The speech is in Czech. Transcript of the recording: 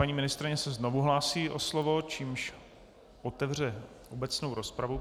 Paní ministryně se znovu hlásí o slovo, čímž otevře obecnou rozpravu.